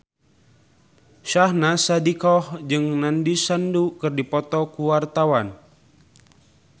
Syahnaz Sadiqah jeung Nandish Sandhu keur dipoto ku wartawan